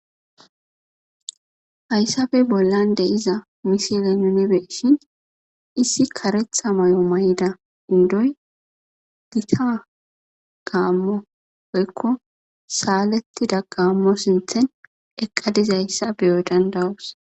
hayssae bollan de' iza misiley nunebeshin issi karetha may7o may7da 'ndoy gita gaammo boykko saalettida gaammo sinthen eqqadizayssa beyo dandawus